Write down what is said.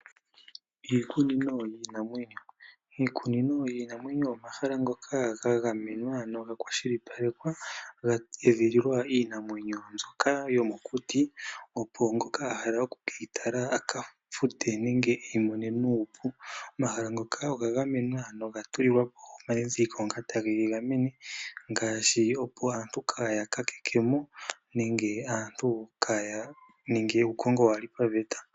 Iikunino yiinamwenyo. Iikunino yiinamwenyo oyo omahala ngoka ga gamenwa noga kwashilipalekwa ga edhililwa iinamwenyo mbyoka yomokuti opo ngoka ahala oku keyitala aka fute nenge eyi mone nuupu. Omahala ngoka oga gamenwa noga tulilwapo omadhidhilikl ngoka ta ge yi gamene ngaashi opo aantu kaaya kakekemo nenge aantu Kaya ninge uukongo kawulu paveta.